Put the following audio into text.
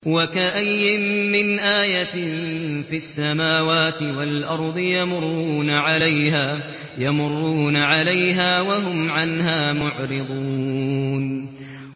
وَكَأَيِّن مِّنْ آيَةٍ فِي السَّمَاوَاتِ وَالْأَرْضِ يَمُرُّونَ عَلَيْهَا وَهُمْ عَنْهَا مُعْرِضُونَ